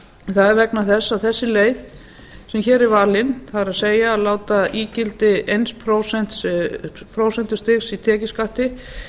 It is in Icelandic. það er vegna þess að þessi leið sem hér er valin það er að láta ígildi eins prósentustigs í tekjuskatti